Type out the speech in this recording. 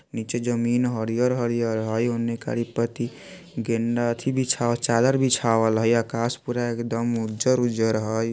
नीचे जमीन हरियर - हरियर हुई उने करी पति अथी बिछावल चादर बिछावल हुई| आकाश पूरा एकदम उजर - उजर हुई ।